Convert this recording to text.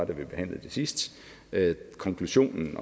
vi behandlede det sidst konklusionen